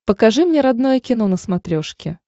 покажи мне родное кино на смотрешке